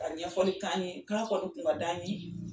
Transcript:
Ka ɲɛfɔli k'an ye k'a kɔni kun ka d'an ye.